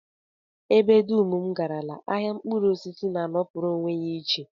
Ebe dum m garala, ahịa mkpụrụosisi na-anọpụrụ onwe ya iche